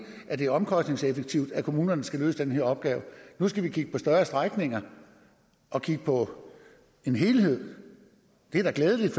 at det er omkostningseffektivt at kommunerne skal løse den her opgave nu skal vi kigge på større strækninger og kigge på en helhed det er da glædeligt